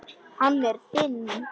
Hann er þinn.